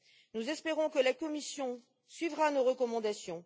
Nous espérons que la Commission suivra nos recommandations.